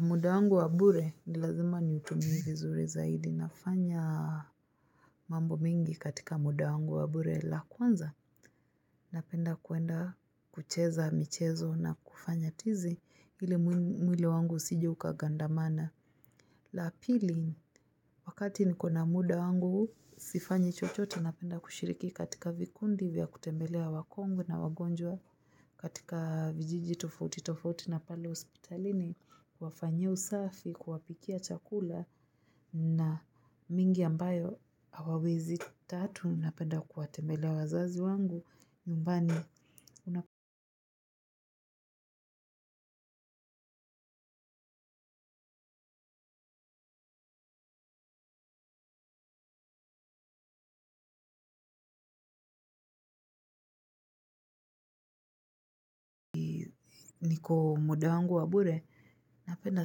Muda wangu wa bure ni lazima niutumie vizuri zaidi nafanya mambo mengi katika muda wangu wa bure la kwanza napenda kwenda kucheza michezo na kufanya tizi ili mwili wangu usije ukagandamana la pili wakati niko na muda wangu sifanyi chochote napenda kushiriki katika vikundi vya kutembelea wakongwe na wagonjwa katika vijiji tofauti tofauti na pale hospitalini wafanyie usafi kuwapikia chakula na mingi ambayo hawawezi tatu napenda kuwatembelea wazazi wangu nyumbani una niko muda wangu wa bure napenda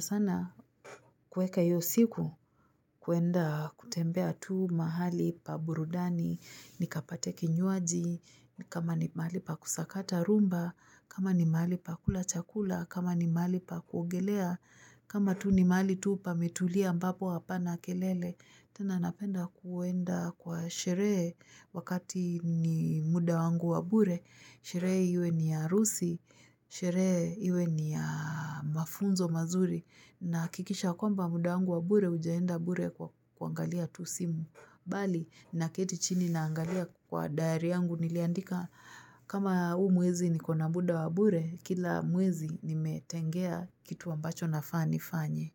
sana kuweka iyo siku kwenda kutembea tu mahali pa burudani nikapate kinywaji kama ni mahali pa kusakata rumba kama ni mahali pa kula chakula kama ni mahali pa kuogelea. Kama tu ni mahali tu pametulia ambapo hapana kelele, tena napenda kwenda kwa sherehe wakati ni muda wangu wa bure. Sherehe iwe ni ya harusi, sherehe iwe ni ya mafunzo mazuri. Nahakikisha kwamba muda wangu wa bure haujaenda bure kwa kuangalia tu simu. Bali naketi chini naangalia kwa dayari yangu niliandika kama huu mwezi niko na muda wa bure kila mwezi nimetengea kitu ambacho nafaa nifanye.